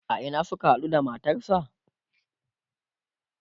a Ina Suka haɗu da matarsa?